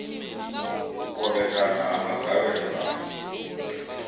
u kovhekana ha magavhelo a